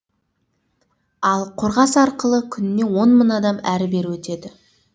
ал қорғас арқылы күніне он мың адам әрі бері өтеді